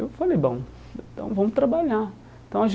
Eu falei, bom, então vamos trabalhar. Então a